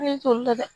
Ne t'olu la dɛ